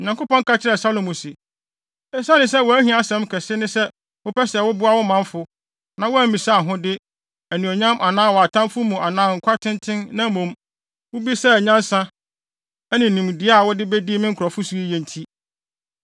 Onyankopɔn ka kyerɛɛ Salomo se, “Esiane sɛ wʼahiasɛm kɛse ne sɛ wopɛ sɛ woboa wo manfo, na woammisa ahode, anuonyam anaa wʼatamfo wu anaa nkwa tenten, na mmom, wubisaa nyansa ne nimdeɛ a wode bedi me nkurɔfo so yiye nti,